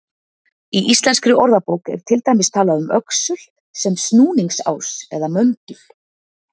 Í Íslenskri orðabók er til dæmis talað um öxul sem snúningsás eða möndul.